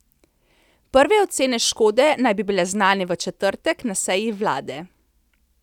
Prve ocene škode naj bi bile znane v četrtek na seji vlade.